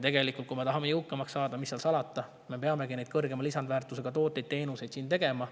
Kui me tahame jõukamaks saada, mis seal salata, siis me peame neid kõrgema lisandväärtusega tooteid-teenuseid siin tegema.